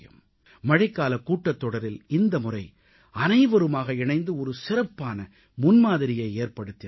மழைக்காலக் கூட்டத்தொடரில் இந்த முறை அனைவருமாக இணைந்து ஒரு சிறப்பான முன்மாதிரியை ஏற்படுத்தினார்கள்